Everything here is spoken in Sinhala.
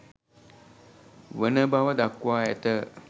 වන බව දක්වා ඇත.